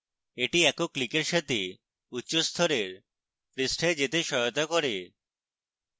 এটি একক ক্লিকের সাথে উচ্চ স্তরের পৃষ্ঠায় যেতে সহায়তা করে